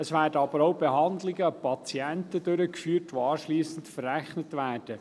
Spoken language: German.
Es werden aber auch Behandlungen an Patienten durchgeführt, die anschliessend verrechnet werden.